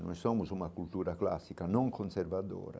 Nós somos uma cultura clássica, não conservadora.